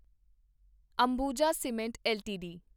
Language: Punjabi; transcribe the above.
Ambuja cements LTD